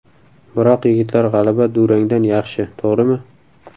Biroq yigitlar g‘alaba durangdan yaxshi, to‘g‘rimi?